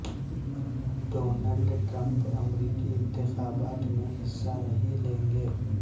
Donald Trump امریکی انتخابات میں حصہ نہیں لیں گے